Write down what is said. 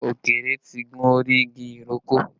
Ọ̀kẹ́rẹ́ tí gun orí igi ìrókò